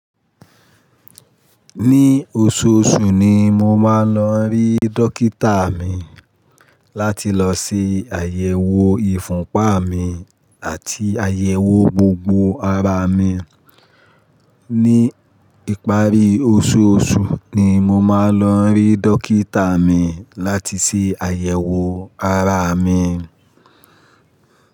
Ní oṣooṣù ni mo máa ń lọ rí dókítà mi láti lọ ṣe àyẹ̀wò ìfúnpa mi àti àyẹ̀wò gbogbo ara mi. Ní ìparí oṣooṣù ni mo máa ń lọ rí dókítà mi láti ṣe àyẹ̀wò ara mi.